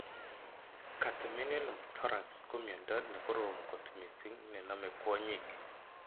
Catamenial pneumothorax komiondo ne korom kot mssing ne nome kwonyik.